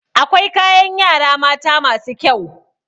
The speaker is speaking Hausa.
Akwai kayan yara mata masu kyau.